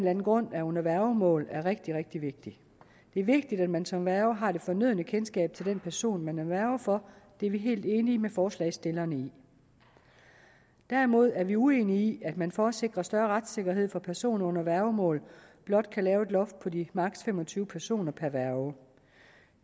anden grund er under værgemål er rigtig rigtig vigtig det er vigtigt at man som værge har det fornødne kendskab til den person man er værge for det er vi helt enige med forslagsstillerne i derimod er vi uenige i at man for at sikre større retssikkerhed for personer under værgemål blot kan lave et loft på de maksimum tyve personer per værge